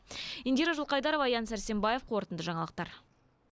индира жылқайдарова аян сәрсенбаев қорытынды жаңалықтар